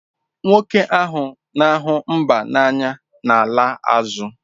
Nwoke ahụ na-ahụ mba n'anya na-ala azụ.